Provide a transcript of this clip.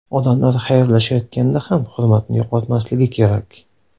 Odamlar xayrlashayotganda ham hurmatni yo‘qotmasligi kerak.